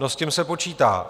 No s tím se počítá.